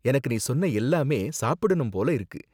எனக்கு நீ சொன்ன எல்லாமே சாப்பிடணும் போல இருக்கு.